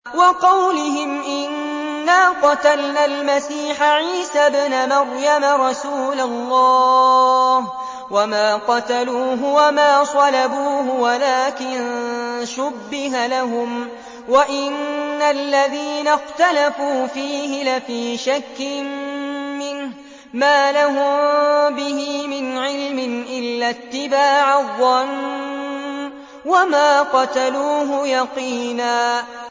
وَقَوْلِهِمْ إِنَّا قَتَلْنَا الْمَسِيحَ عِيسَى ابْنَ مَرْيَمَ رَسُولَ اللَّهِ وَمَا قَتَلُوهُ وَمَا صَلَبُوهُ وَلَٰكِن شُبِّهَ لَهُمْ ۚ وَإِنَّ الَّذِينَ اخْتَلَفُوا فِيهِ لَفِي شَكٍّ مِّنْهُ ۚ مَا لَهُم بِهِ مِنْ عِلْمٍ إِلَّا اتِّبَاعَ الظَّنِّ ۚ وَمَا قَتَلُوهُ يَقِينًا